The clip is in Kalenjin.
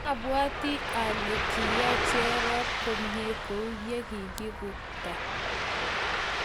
abwatii ale kiyay Cherop komieit kou yee kiikukta.